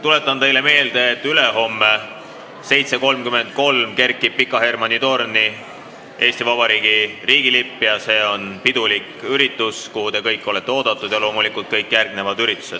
Tuletan teile meelde, et ülehomme kell 7.33 kerkib Pika Hermanni torni Eesti Vabariigi riigilipp ja see on pidulik üritus, kuhu te kõik olete oodatud, ja loomulikult järgneb sellele veel sündmusi.